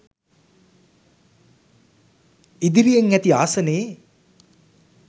ඉදිරියෙන් ඇති ආසනයේ